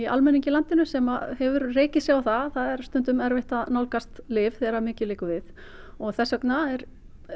almenningi í landinu sem hefur rekið sig á það að það er stundum erfitt að nálgast lyf þegar mikið liggur við og þess vegna er